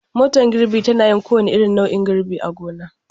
Motar girbi tana yin kowane nau'in girbi a gona.